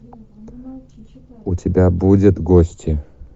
у тебя будет гости